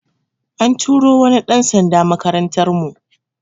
An turo wani ɗan sanda makarantar mu